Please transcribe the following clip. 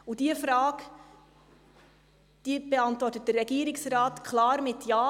– Und diese Frage beantwortet der Regierungsrat klar mit Ja.